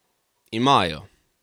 Imajo!